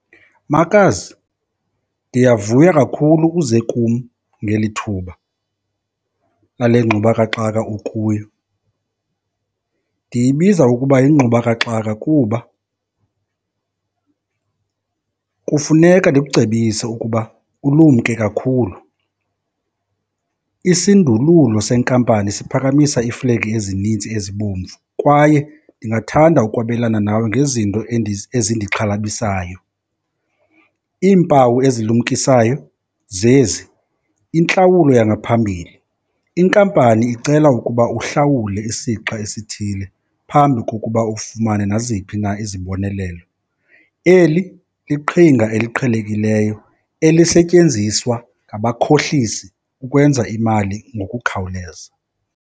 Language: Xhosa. Makazi, ndiyavuya kakhulu uze kum ngeli thuba lale ngxubakaxaka ukuyo. Ndiyibiza ukuba yingxubakaxaka kuba kufuneka ndikucebise ukuba ulumke kakhulu. Isindululo senkampani siphakamisa iiflegi ezininzi ezibomvu kwaye ndingathanda ukwabelana nawe ngezinto ezindixhalabisayo. Iimpawu ezilumkisayo zezi, intlawulo yangaphambili. Inkampani icela ukuba uhlawule isixa esithile phambi kokuba ufumane naziphi na izibonelelo. Eli liqhinga eliqhelekileyo elisetyenziswa ngabakhohlisi ukwenza imali ngokukhawuleza.